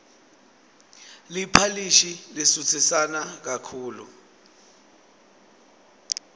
liphalishi lisutsisana kakhulu